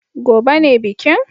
Gobe ​​ne bikin